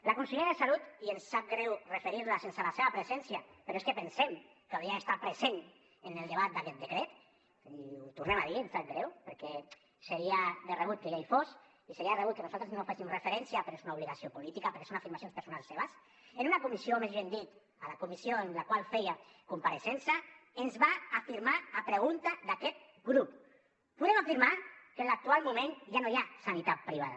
la consellera de salut i ens sap greu referir nos hi sense la seva presència però és que pensem que hauria d’estar present en el debat d’aquest decret i ho tornem a dir ens sap greu perquè seria de rebut que ella hi fos i seria de rebut que nosaltres no hi féssim referència però és una obligació política perquè són afirmacions personals seves en una comissió o més ben dit a la comissió en la qual feia compareixença ens va afirmar a pregunta d’aquest grup podem afirmar que en l’actual moment ja no hi ha sanitat privada